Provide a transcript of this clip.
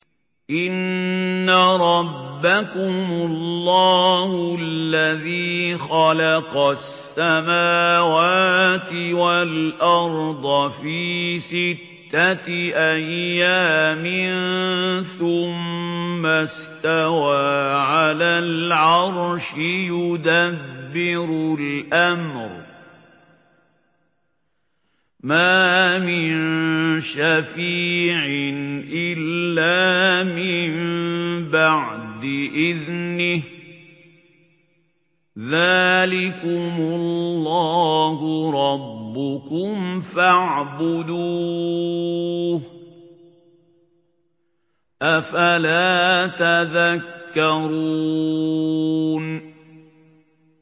إِنَّ رَبَّكُمُ اللَّهُ الَّذِي خَلَقَ السَّمَاوَاتِ وَالْأَرْضَ فِي سِتَّةِ أَيَّامٍ ثُمَّ اسْتَوَىٰ عَلَى الْعَرْشِ ۖ يُدَبِّرُ الْأَمْرَ ۖ مَا مِن شَفِيعٍ إِلَّا مِن بَعْدِ إِذْنِهِ ۚ ذَٰلِكُمُ اللَّهُ رَبُّكُمْ فَاعْبُدُوهُ ۚ أَفَلَا تَذَكَّرُونَ